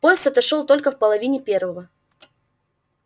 поезд отошёл только в половине первого